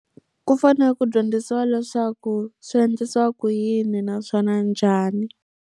Ku fanele ku dyondzisiwa leswaku swi endlisiwa ku yini naswona njhani.